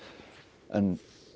en